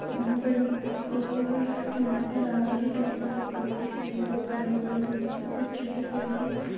Bind अ अ वोर र याह परं रांगें के भी काई सारे पेड दिखाई दे रहे है बडे बडे कुछ छोटे पेड है।